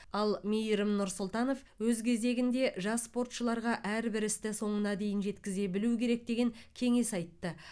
ал мейірім нұрсұлтанов өз кезегінде жас спортшыларға әрбір істі соңына дейін жеткізе білу керек деген кеңес айтты